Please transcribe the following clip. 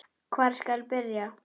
Hvar skal byrja.